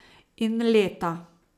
In leta.